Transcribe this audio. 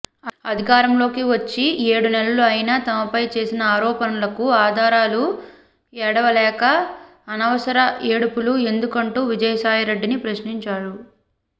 అధికారంలోకి వచ్చి ఏడు నెలలు అయినా తమపై చేసిన ఆరోపణలకు ఆధారాలు ఏడవలేక అనవసర ఏడుపులు ఎందుకంటూ విజయసాయిరెడ్డిని ప్రశ్నించారు